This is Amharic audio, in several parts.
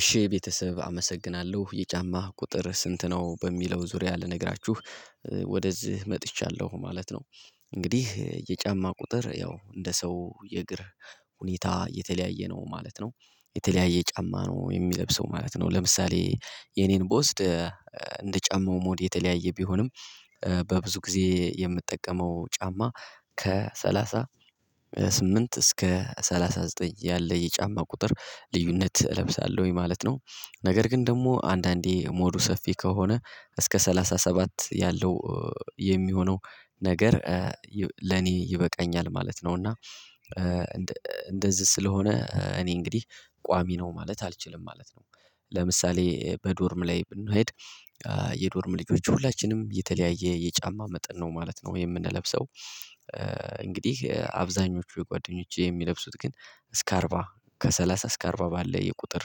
እሺ ቤተሰብ አመሰግናለሁ። የጫማ ቁጥርህ ስንት ነው? በሚለው ዙሪያ ልነግራችሁ ወደዚህ መጥቻለሁ ማለት ነው። እንግዲህ የጫማ ቁጥር ያው እንደ ሰው የእግር ሁኔታ የተለያየ ነው ማለት ነው። የተለያየ ጫማ ነው የሚለብሰው ማለት ነው። ለምሳሌ የኔን ብወስድ እንደ ጫማው ሞድ የተለያየ ቢሆንም በብዙ ጊዜ የምጠቀመው ጫማ ከሰላሳ ስምንት እስከ ሰላሳ ዘጠኝ ያለ የጫማ ቁጥር ልዩነት እለብሳለሁኝ ማለት ነው። ነገር ግን ደግሞ አንዳንዴ ሞዱ ሰፊ ከሆነ እስከ ሰላሳ ሰባት ያለው የሚሆነው ነገር ለኔ ይበቃኛል ማለት ነው። እና እንደዚህ ስለሆነ እኔ እንግዲህ ቋሚ ነው ማለት አልችልም ማለት ነ። ለምሳሌ በዶርም ላይ ብንሄድ የዶርም ልጆች ሁላችንም የተለያየ የጫማ መጠን ነው ማለት ነው። የምንለብሰው እንግዲህ አብዛኞቹ ጓደኞች የሚለብሱት ግን እስከ አርባ ከሰላሳ እስከ አርባ ባለ የቁጥር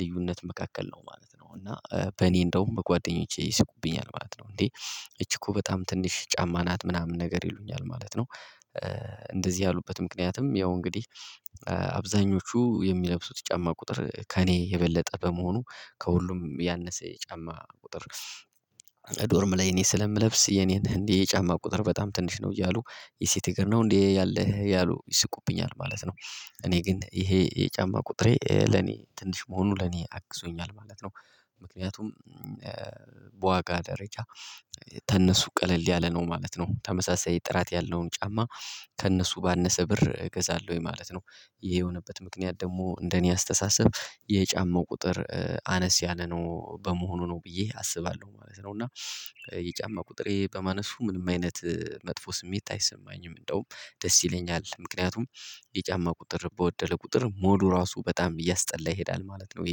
ልዩነት መካከል ነው ማለት ነው። እና በእኔ እንደውም በጓደኞቼ ይስቁብኛል ማለት ነው። እንዴ እቺ እኮ በጣም ትንሽ ጫማ ናት ምናምን ነገር ይሉኛል። ማለት ነው እንደዚህ ያሉበት ምክንያትም ያው እንግዲህ አብዛኞቹ የሚለብሱት ጫማ ቁጥር ከእኔ የበለጠ በመሆኑ ከሁሉም ያነሰ የጫማ ቁጥር ዶርም ላይ እኔ ስለምለብስ የኔን እንዲህ የጫማ ቁጥር በጣም ትንሽ ነው። እያሉ የሴት እግር ነው እንዴ ያለህ ያሉ ይስቁብኛል። ማለት ነው እኔ ግን ይሄ የጫማ ቁጥሬ ለኔ ትንሽ መሆኑ ለኔ አግዞኛል ማለት ነው ምክንያቱም በዋጋ ደረጃ ተነሱ ቀለል ያለ ነው ማለት ነው። ተመሳሳይ ጥራት ያለውን ጫማ ከእነሱ ባነሰ ብር እገዛለሁኝ። ማለት ነው ይሄ የሆነበት ምክንያት ደግሞ እንደኔ አስተሳሰብ የጫማው ቁጥር አነስ ያለ ነው በመሆኑ ነው ብዬ አስባለሁ ማለት ነው። እና የጫማ ቁጥሬ በማነሱ ምንም አይነት መጥፎ ስሜት አይሰማኝም። እንደውም ደስ ይለኛል ምክንያቱም የጫማ ቁጥር በወደለ ቁጥር ሞዱ ራሱ በጣም እያስጠላ ይሄዳል ማለት ነው።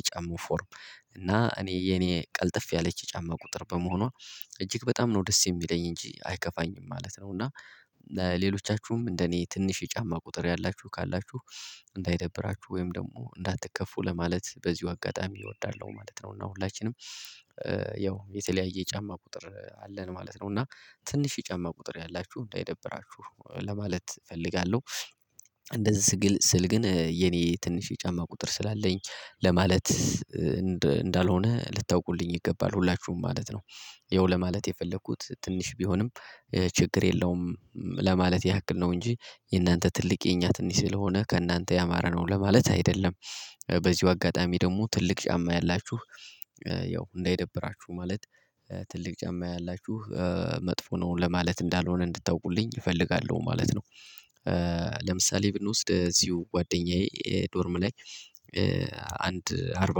የጫማው ፎርም እና እኔ የኔ ቀልጠፍ ያለች የጫማ ቁጥር በመሆኗ እጅግ በጣም ነው ደስ የሚለኝ። እንጂ አይከፋኝም ማለት ነ። እና ለሌሎቻችሁም እንደ እኔ ትንሽ የጫማ ቁጥር ያላችሁ ካላችሁ እንዳይደብራችሁ ወይም ደግሞ እንዳትከፉ ለማለት በዚሁ አጋጣሚ እወዳለሁ ማለት ነው። እና ሁላችንም ያው የተለያየ ጫማ ቁጥር አለን ማለት ነው እና ትንሽ ጫማ ቁጥር ያላችሁ እንዳይደብራችሁ። ለማለት እፈልጋለሁ። እንደዚህ ስል ግን የኔ ትንሽ የጫማ ቁጥር ስላለኝ ለማለት እንዳልሆነ ልታውቁልኝ ይገባል። ሁላችሁም ማለት ነው። ይኸው ለማለት የፈለኩት ትንሽ ቢሆንም ችግር የለውም። ለማለት ያክል ነው እንጂ የእናንተ ትልቅ የኛ ትንሽ ስለሆነ ከእናንተ ያማረ ነው ለማለት አይደለም። በዚሁ አጋጣሚ ደግሞ ትልቅ ጫማ ያላችሁ ያው እንዳይደብራችሁ ማለት ትልቅ ጫማ ያላችሁ መጥፎ ነው ለማለት እንዳልሆነ እንድታውቁልኝ እፈልጋለሁ ማለት ነው። ለምሳሌ ብንወስድ እዚሁ ጓደኛዬ ዶርም ላይ አንድ አርባ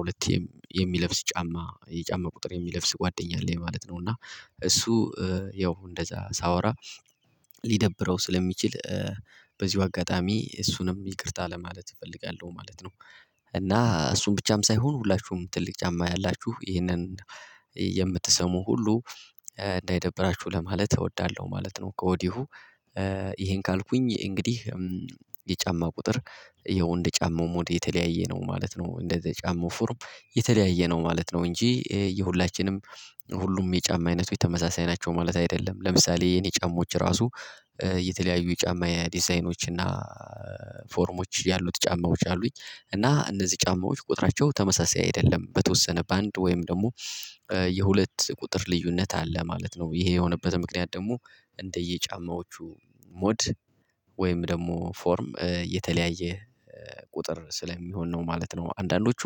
ሁለት የሚለብስ ጫማ የጫማ ቁጥር የሚለብስ ጓደኛ አለ ማለት ነው። እና እሱ ያው እንደዛ ሳወራ ሊደብረው ስለሚችል በዚሁ አጋጣሚ እሱንም ይቅርታ ለማለት እፈልጋለሁ ማለት ነው። እና እሱን ብቻም ሳይሆን ሁላችሁም ትልቅ ጫማ ያላችሁ ይህንን የምትሰሙ ሁሉ እንዳይደብራችሁ ለማለት እወዳለሁ ማለት ነው። ከወዲሁ ይሄን ካልኩኝ እንግዲህ የጫማ ቁጥር የወንድ ጫማው ሞዴ የተለያየ ነው ማለት ነው እንደ የጫማው ፎርም የተለያየ ነው ማለት ነው እንጂ የሁላችንም ሁሉም የጫማ አይነቱ የተመሳሳይ ናቸው ማለት አይደለም። ለምሳሌ የኔ ጫማዎች ራሱ የተለያዩ የጫማ ዲዛይኖች እና ፎርሞች ያሉት ጫማዎች አሉኝ። እና እነዚህ ጫማዎች ቁጥራቸው ተመሳሳይ አይደለም። በተወሰነ በአንድ ወይም ደግሞ የሁለት ቁጥር ልዩነት አለ ማለት ነው። ይሄ የሆነበት ምክንያት ደግሞ እንደየ ጫማዎቹ ሞድ ወይም ደግሞ ፎርም የተለያየ ቁጥር ስለሚሆን ነው ማለት ነው። አንዳንዶቹ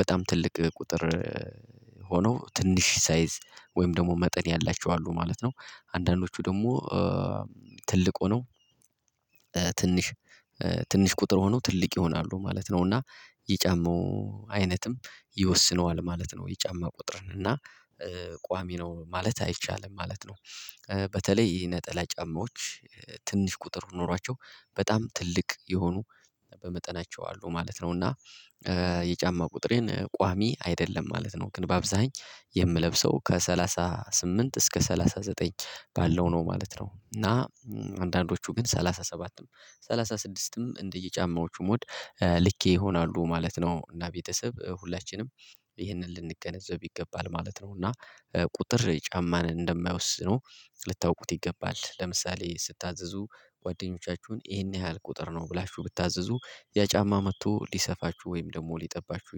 በጣም ትልቅ ቁጥር ሆኖ ትንሽ ሳይዝ ወይም ደግሞ መጠን ያላቸው አሉ ማለት ነው። አንዳንዶቹ ደግሞ ትልቅ ሆነው ትንሽ ትንሽ ቁጥር ሆነው ትልቅ ይሆናሉ ማለት ነው። እና የጫማው አይነትም ይወስነዋል ማለት ነው። የጫማ ቁጥርን እና ቋሚ ነው ማለት አይቻልም ማለት ነው። በተለይ ይሄ ነጠላ ጫማዎች ትንሽ ቁጥር ኖሯቸው በጣም ትልቅ የሆኑ በመጠናቸው አሉ ማለት ነው። እና የጫማ ቁጥሬን ቋሚ አይደለም ማለት ነው ግን በአብዛኛው የምለብሰው ከሰላሳ ስምንት እስከ ሰላሳ ዘጠኝ ባለው ነው ማለት ነው እና አንዳንዶቹ ግን ሰላሳ ሰባት ነው ሰላሳ ስድስትም እንደየጫማዎቹም ሞድ ልኬ ይሆናሉ ማለት ነው። እና ቤተሰብ ሁላችንም ይህንን ልንገነዘብ ይገባል ማለት ነው። እና ቁጥር ጫማን እንደማይወስነው ልታውቁት ይገባል። ለምሳሌ ስታዘዙ ጓደኞቻችሁን ይሄን ያህል ቁጥር ነው ብላችሁ ብታዘዙ ያ ጫማ መጥቶ ሊሰፋችሁ ወይም ደግሞ ሊጠባችሁ